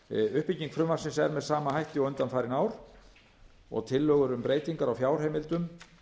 uppbygging frumvarpsins er með sama hætti og undanfarin ár og tillögur um breytingar á fjárheimildum